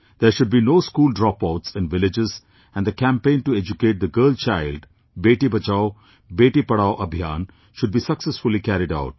There should be no school dropouts in villages and the campaign to educate the girl child Beti Bachao, Beti Padhao Abhiyan should be successfully carried out